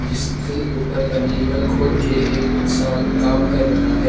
जिसके ऊपर का लीबर खोल के एक इंसान काम कर रहा है।